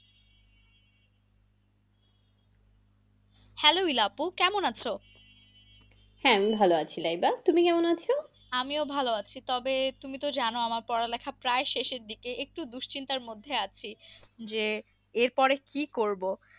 Hello আপু কেমন আছ? হ্যাঁ আমি ভালো আছি। লাইদা, তুমি কেমন আছ? আমিও ভালো আছি। তবে তুমি তো জানো আমার পড়ালেখা প্রায় শেষের দিকে, একটু দুশ্চিন্তার মধ্যে আছি। যে এর পরে কি করব।